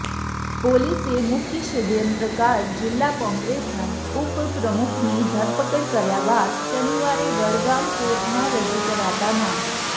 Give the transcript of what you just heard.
પોલીસે મુખ્ય ષડ્યંત્રકાર જિલ્લા કોંગ્રેસના ઉપપ્રમુખની ધરપકડ કર્યા બાદ શનિવારે વડગામ કોર્ટમાં રજૂ કરાતા ના